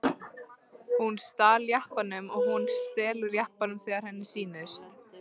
Hún stal jeppanum og hún stelur jeppanum þegar henni sýnist.